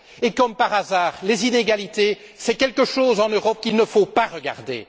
Et, comme par hasard, les inégalités, c'est quelque chose, en Europe, qu'il ne faut pas regarder.